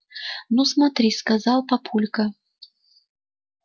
ну смотри сказал папулька